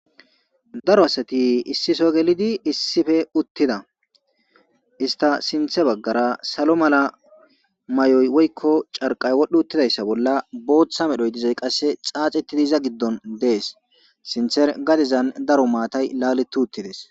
daro asati issiso gelidi issife uttida ista sinthe baggara salo mala may7oy woykko carqay wodhdhi uttidayssa bolla booththa medhoy dizay qasse xaacetidiiza giddon dees sinther gadezan daro maatay laaleti uttides